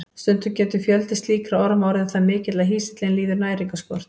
Stundum getur fjöldi slíkra orma orðið það mikill að hýsillinn líður næringarskort.